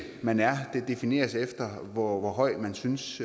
man er defineres efter hvor høj man synes